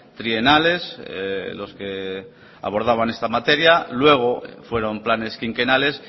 trienales los que abordaban esta materia luego fueron planes quinquenales